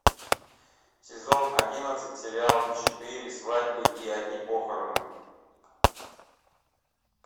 сезон одиннадцать сериал четыре свадьбы и одни похороны